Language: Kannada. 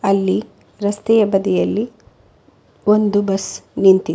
ಅಲ್ಲಿ ರಸ್ತೆಯ ಬದಿಯಲ್ಲಿ ಒಂದು ಬಸ್ ನಿಂತಿದೆ.